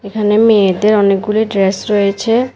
এখানে মেয়েদের অনেকগুলি ড্রেস রয়েছে।